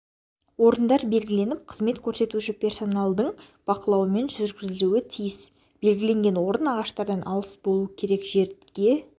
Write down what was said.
орындар белгіленіп қызмет көрсетуші персоналдың бақылауымен жүргізілуі тиіс белгіленген орын ағаштардан алыс болу керек жерге